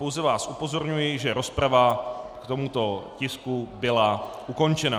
Pouze vás upozorňuji, že rozprava k tomuto tisku byla ukončena.